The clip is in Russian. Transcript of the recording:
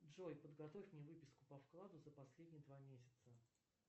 джой подготовь мне выписку по вкладу за последние два месяца